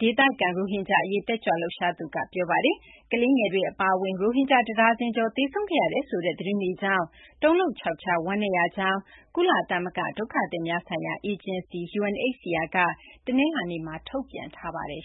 ဒေသခံ ရိုဟင်ဂျာ အရေး တက်ကြွလှုပ်ရှားသူက ပြောပါတယ်။ ကလေးငယ်တွေ အပါအဝင် ရိုဟင်ဂျာ တဒါဇင်ကျော် သေဆုံးခဲ့ရတယ်ဆိုတဲ့ သတင်းတွေကြောင့် တုန်လှုပ်ခြောက်ခြား ဝမ်းနည်းရကြောင်း ကုလသမဂ္ဂ ဒုက္ခသည်များဆိုင်ရာ အေဂျင်စီ UNHCR က တနလာင်္နေ့မှာ ထုတ်ပြန်ပါတယ်